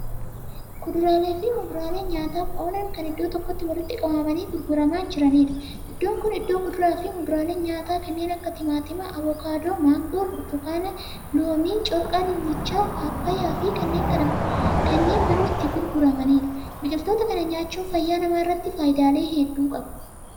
Kuduraaleefi muduraalee nyaataaf oolan Kan iddoo tokkotti walitti qabamanii gurguramaa jiraniidha. Iddoon Kuni iddoo kuduraafi muduraaleen nyaataa kanneen akka timaatimaa, abokaadoo, maangoo, burtukaana, loomii, corqaa dinnicha paappayaafi kanneen biroo itti gurguramaniidha. Biqiltoota kana nyaachuun fayyaa namaarratti faayidaalee hedduu qabu.